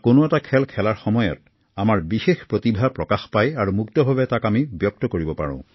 কোনো এটি খেল খেলোতে আমাৰ বিশেষ প্ৰতিভা প্ৰকাশ পায় আৰু ইয়াক আমি মুক্ত মনেৰে ব্যক্তি কৰিব পাৰো